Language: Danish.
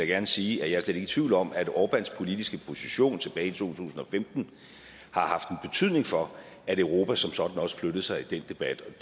gerne sige at jeg slet i tvivl om at orbáns politiske position tilbage i to tusind og femten har haft en betydning for at europa som sådan også flyttede sig i den debat